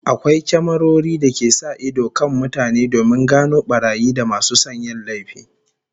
Akwai kyamarori da ke sa ido kan mutane domin gano barayi da masu son yin laifi